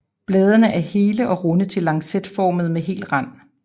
Bladene er hele og runde til lancetformede med hel rand